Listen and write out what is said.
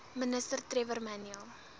ministers trevor manuel